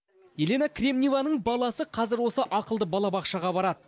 елена кремневаның баласы қазір осы ақылды балабақшаға барады